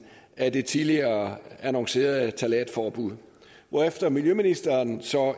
af det tidligere annoncerede ftalatforbud hvorefter miljøministeren så